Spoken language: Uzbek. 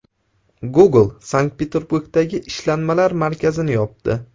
Google Sankt-Peterburgdagi ishlanmalar markazini yopdi.